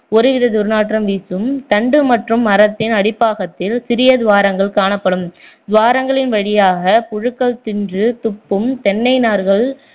ஒரு வித துர்நாற்றம் வீசும் தண்டு மற்றும் மரத்தின் அடிப்பாகத்தில் சிறிய துவாரங்கள் காணப்படும் துவாரங்களின் வழியாக புழுகள் தின்று துப்பும் தென்னை நார்கள்